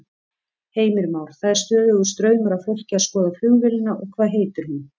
Heimir Már: Það er stöðugur straumur af fólki að skoða flugvélina og hvað heitir hún?